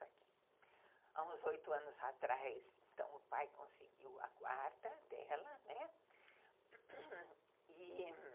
Há uns oito anos atrás, o pai conseguiu a guarda dela, né, e